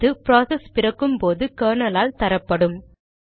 இது ப்ராசஸ் பிறக்கும்போது கெர்னல் ஆல் தரப்படும்